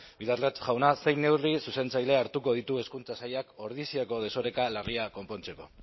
bildarratz jauna zein neurri zuzentzaile hartuko ditu hezkuntza sailak ordiziako desoreka larria konpontzeko